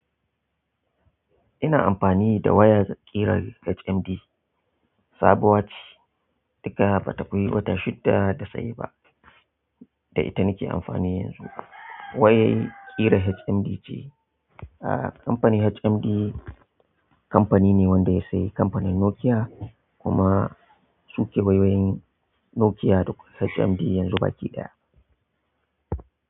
Ina amfani da waya ƙira HMD, sabuwa ce, daga ba ta fi wata shidda da saye ba. Da ita nake amfani yanzu. Wayar ƙira HMD ce. Ah kamfanin HMD kamfani ne wanda ya sayi kamfanin Nokia kuma su ke wawayen Nokia duk HMD yanzu baƙi ɗaya.